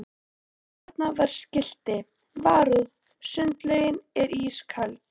Þarna var skilti: Varúð sundlaugin er ísköld